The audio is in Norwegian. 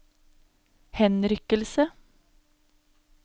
henrykkelse